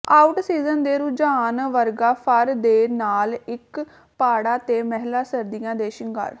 out season ਦੇ ਰੁਝਾਨ ਵਰਗਾ ਫਰ ਦੇ ਨਾਲ ਇੱਕ ਪਾੜਾ ਤੇ ਮਹਿਲਾ ਸਰਦੀਆਂ ਦੇ ਸ਼ਿੰਗਾਰ